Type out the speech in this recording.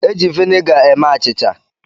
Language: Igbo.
E ji vinega eme achịcha.